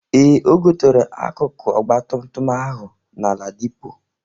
Ee, O gotere akụkụ ọgbatumtum ahụ na Ladipo.